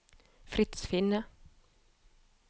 Frits Finne